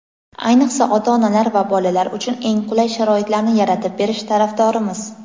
ayniqsa ota-onalar va bolalar uchun eng qulay sharoitlarni yaratib berish tarafdorimiz.